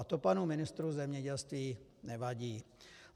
A to panu ministrovi zemědělství nevadí.